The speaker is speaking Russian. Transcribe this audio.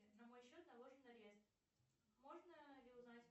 на мой счет наложен арест можно ли узнать